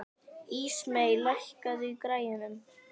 Ísmey, lækkaðu í græjunum.